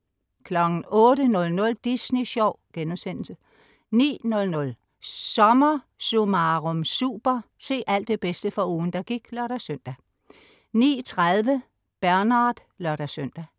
08.00 Disney Sjov* 09.00 SommerSummarum Super. Se alt det bedste fra ugen, der gik (lør-søn) 09.30 Bernard (lør-søn)